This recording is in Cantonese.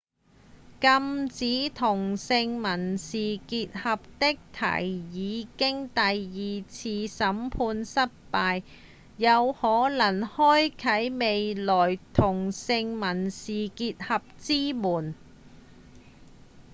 禁止同性民事結合的提議經第二次宣判失敗有可能開啟未來同性民事結合之門